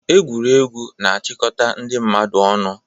Egwuregwu na-achịkọta ndị mmadụ ọnụ.